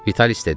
Vitalis dedi.